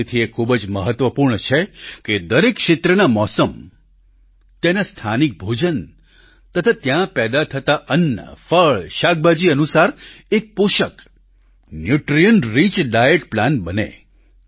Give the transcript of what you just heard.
તેથી એ ખૂબ જ મહત્વપૂર્ણ છે કે દરેક ક્ષેત્રનાં મોસમ ત્યાંના સ્થાનિક ભોજન તથા ત્યાં પેદા થતા અન્ન ફળ શાકભાજી અનુસાર એક પોષક ન્યૂટ્રિયન્ટ રિચ ડાયટ પ્લાન બને